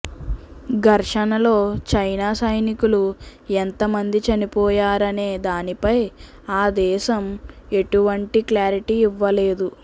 ఘర్షణలో China సైనికులు ఎంతమంది చనిపోయారనే దానిపై ఆ దేశం ఎటువంటి క్లారిటీ ఇవ్వలేదు